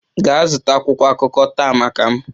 Gaa zụta akwụkwọ akụkọ taa maka m!